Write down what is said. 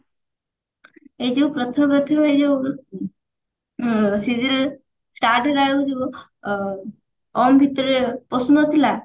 ଏଇ ଯଉ ପ୍ରଥମେ ପ୍ରଥମେ ଏଇ ଯଉ ଉଁ serial start ହେଲା ବେଳକୁ ଯଉ ଅ ଭିତରେ ପଶୁନଥିଲା